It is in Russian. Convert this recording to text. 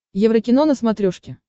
еврокино на смотрешке